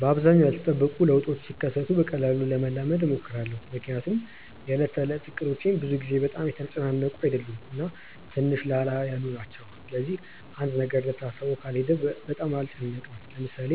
በአብዛኛው ያልተጠበቁ ለውጦች ሲከሰቱ በቀላሉ ለመላመድ እሞክራለሁ። ምክንያቱም የዕለት ተዕለት እቅዶቼ ብዙ ጊዜ በጣም የተጨናነቁ አይደሉም እና ትንሽ ላላ ያሉ ናቸው። ስለዚህ አንድ ነገር እንደታሰበው ካልሄደ በጣም አልጨነቅም። ለምሳሌ